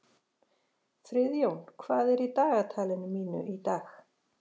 Friðjón, hvað er í dagatalinu mínu í dag?